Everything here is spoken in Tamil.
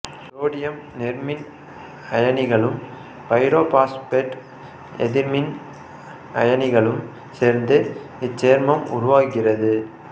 சோடியம் நேர்மின் அயனிகளும் பைரோபாசுப்பேட்டு எதிர்மின் அயனிகளும் சேர்ந்து இச்சேர்மம் உருவாகிறது